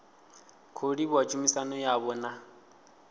khou livhuwa tshumisano yavho na